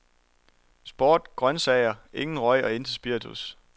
Sport, grøntsager, ingen røg og intet spiritus